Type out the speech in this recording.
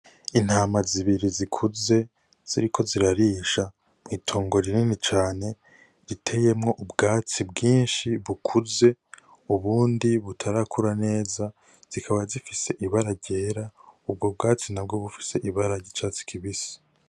Intama zibiri zikuze ziriko zirarisha mw'itongo rinini cane riteyemwo ubwatsi bwishi bukuze ubundi butarakura neza zikaba zifise ibara ryera ubwo bwatsi nabwo bufise ibara ry'icatsi kibisi.